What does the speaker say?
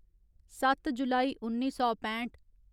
सत्त जुलाई उन्नी सौ पैंठ